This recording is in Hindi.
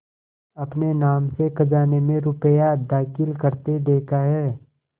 अपने नाम से खजाने में रुपया दाखिल करते देखा है